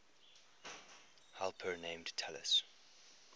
helper named talus